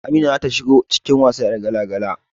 Amina zata shigo cikin wasa 'yar gala-gala